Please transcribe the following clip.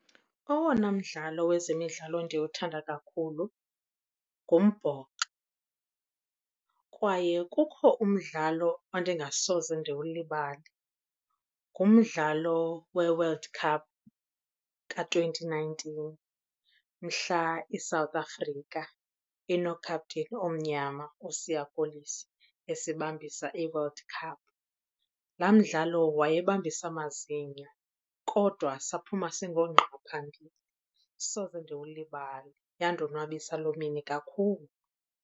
Owona mdlalo wezemidlalo endiwuthanda kakhulu ngumbhoxo kwaye kukho umdlalo endingasoze ndiwulibale. Ngumdlalo weWorld Cup ka-twenty nineteen, mhla iSouth Africa ino-captain omnyama uSiya Kolisi esibambisa iWorld Cup. Laa mdlalo wayebambisa amazinyo kodwa saphuma singoongqa phambili. Soze ndiwulibale, yandonwabisa loo mini kakhulu.